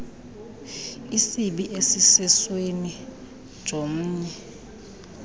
isibi esisesweni jomnye